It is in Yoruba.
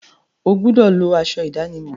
O gbúdọ̀ lọ aṣọ ìdánimọ̀!